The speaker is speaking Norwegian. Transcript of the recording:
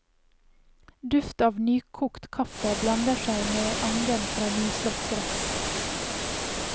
Duft av nykokt kaffe blander seg med angen fra nyslått gress.